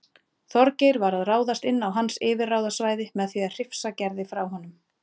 Þorgeir var að ráðast inn á hans yfirráðasvæði með því að hrifsa Gerði frá honum.